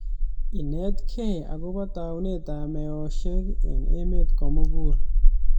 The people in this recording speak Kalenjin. Inetkei akobo taunet ab meoshek eng emet komokul.